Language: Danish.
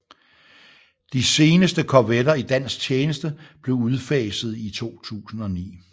De seneste korvetter i dansk tjeneste blev udfaset i 2009